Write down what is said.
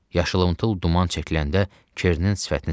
Yaşılımtıl duman çəkiləndə Kernin sifətini sezdim.